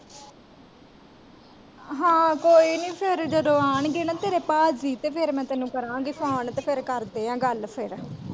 ਹਾਂ ਕੋਯੀਨੀ ਫੇਰ ਜਦੋਂ ਆਉਣਗੇ ਨਾ ਤੇਰੇ ਪਾਜੀ ਤੇ ਫੇਰ ਮੈਂ ਤੈਨੂੰ ਕਰਾਂਗੀ phone ਤੇ ਫੇਰ ਕਰਦੇ ਆ ਗੱਲ ਫੇਰ।